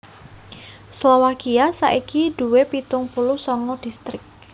Slowakia saiki duwé pitung puluh sanga distrik